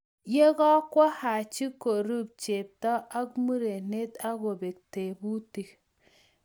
ye kokowo Haji korub chepto ak murenet ak kobe tebutik.